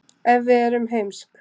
ef við erum heimsk